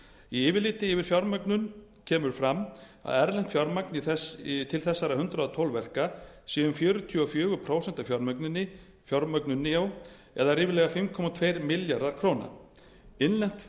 í yfirliti yfir fjármögnun kemur fram að erlent fjármagn til þessara hundrað og tólf verka sé um fjörutíu og fjögur prósent af fjármögnuninni eða ríflega fimm komma tveir milljarðar króna innlent